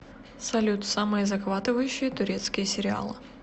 салют самые захватываюшие турецкие сериалы